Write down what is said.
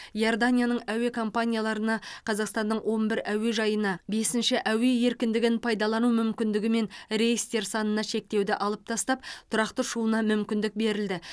иорданияның әуе компанияларына қазақстанның он бір әуежайына бесінші әуе еркіндігін пайдалану мүмкіндігімен рейстер санына шектеуді алып тастап тұрақты ұшуына мүмкіндік берілді